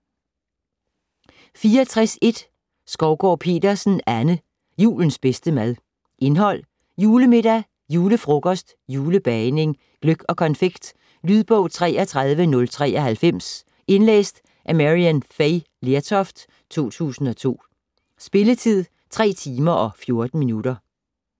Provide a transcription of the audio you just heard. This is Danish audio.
64.1 Skovgaard-Petersen, Anne: Julens bedste mad Indhold: Julemiddag ; Julefrokost ; Julebagning ; Gløgg og konfekt. Lydbog 33093 Indlæst af Maryann Fay Lertoft, 2002. Spilletid: 3 timer, 14 minutter.